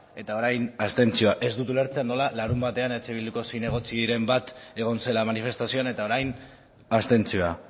eta orain abstentzioa ez dut ulertzen nola larunbatean eh bilduko zinegotziren bat egon zela manifestazioan eta orain abstentzioa